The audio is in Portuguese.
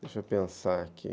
Deixa eu pensar aqui.